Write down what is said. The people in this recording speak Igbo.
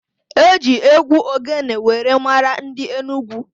E ji égwú ogene were mara ndị Enugwu.